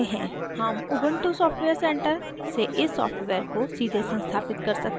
हम ubuntu software center से इस सॉफ्टवेयर को सीधे संस्थापित कर सकते हैं